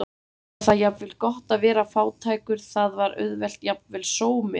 Nú var það jafnvel gott að vera fátækur, það var auðvelt, jafnvel sómi að því.